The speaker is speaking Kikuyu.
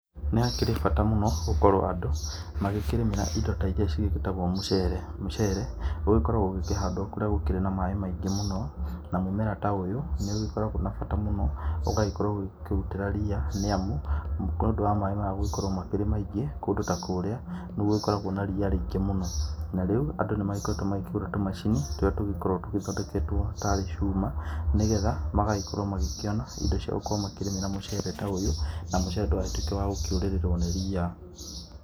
Nĩ hakĩrĩ bata mũno gũkorwo andũ magĩkĩrĩmĩra indo ta iria cigĩgĩtagwo mũcere, mũcere ũgĩkoragwo ũgĩkĩhandwo kũrĩa gũkĩrĩ na maaĩ maingĩ mũno. Na mũmera ta ũyũ nĩ ũgĩkoragwo na bata mũno, ũgagĩkorwo ũkĩrutĩra ria nĩ amu, nĩ tondũ wa maaĩ maya gũgĩkorwo marĩ maingĩ kũndũ ta kũrĩa, nĩ gũgĩkoragwo na ria rĩingĩ mũno. Na rĩu andũ nĩ magĩkoretwo makĩgũra tũmacini tũrĩa tũgĩkoragwo tũgĩthondeketwo tarĩ cuma, nĩ getha magakorwo magĩkĩona indo cia gũkorwo makĩrĩmĩra mũcere ta ũyũ, na mũcere ndũgagĩtuĩke wa gũkĩũrĩrĩrwo nĩ ria.